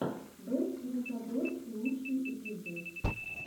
бэст лючадорс лучший эпизод